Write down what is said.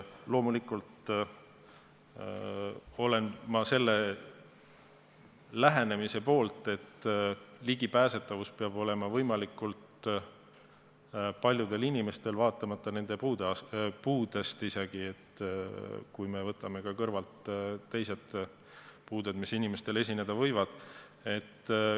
Loomulikult olen ma selle lähenemise poolt, et ligipääsetavus peab olema võimalikult paljudel inimestel, vaatamata isegi nende puudele, kui me võtame siia kõrvale teised puuded, mis inimestel esineda võivad.